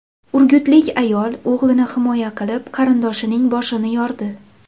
Urgutlik ayol o‘g‘lini himoya qilib, qarindoshining boshini yordi.